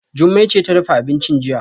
Jummai ce ta dafa abincin jiya